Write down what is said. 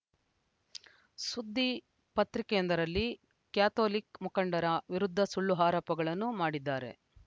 ಸುದ್ದಿ ಪತ್ರಿಕೆಯೊಂದರಲ್ಲಿ ಕ್ಯಾಥೋಲಿಕ್‌ ಮುಖಂಡರ ವಿರುದ್ಧ ಸುಳ್ಳು ಆರೋಪಗಳನ್ನು ಮಾಡಿದ್ದಾರೆ